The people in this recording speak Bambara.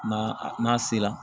N'a n'a sera